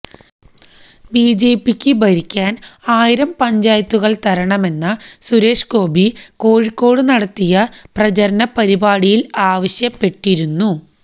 ബിജെപിക്ക് ഭരിക്കാൻ ആയിരം പഞ്ചായത്തുകൾ തരണമെന്ന സുരേഷ് ഗോപി കോഴിക്കോട് നടത്തിയ പ്രചരണ പരിപാടിയിൽ ആവശ്യപ്പെട്ടിരുന്നു